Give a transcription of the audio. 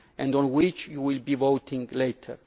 on which you will be voting later.